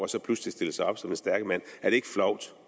så pludselig stille sig op som den stærke mand er det ikke flovt